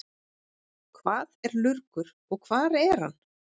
Hvað er lurgur og hvar er hann?